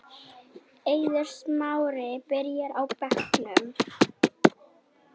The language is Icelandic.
Eiður Smári byrjar á bekknum